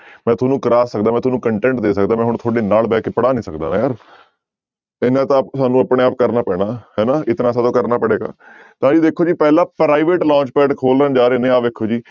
ਮੈਂ ਤੁਹਾਨੂੰ ਕਰਵਾ ਸਕਦਾ ਮੈਂ ਤੁਹਾਨੂੰ content ਦੇ ਸਕਦਾ ਮੈਂ ਹੁਣ ਤੁਹਾਡੇ ਨਾਲ ਬਹਿ ਕੇ ਪੜ੍ਹਾ ਨੀ ਸਕਦਾ ਯਾਰ ਇੰਨਾ ਤਾਂ ਸਾਨੂੰ ਆਪਣੇ ਆਪ ਕਰਨਾ ਪੈਣਾ ਹਨਾ ਇਤਨਾ ਸੋ ਤੋ ਕਰਨਾ ਪੜੇਗਾ ਤਾਂ ਜੀ ਦੇਖੋ ਜੀ ਪਹਿਲਾ private launch pad ਖੋਲਣ ਜਾ ਰਹੇ ਨੇ ਆਹ ਵੇਖੋ ਜੀ